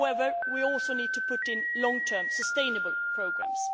However, we also need to implement long term, sustainable programmes.